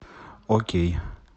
окей